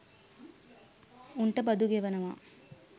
උන්ට බදු ගෙවනවා